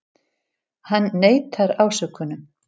Hann neitar ásökunum